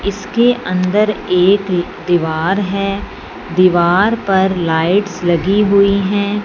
इसके अंदर एक दीवार है दीवार पर लाइट्स लगी हुई हैं।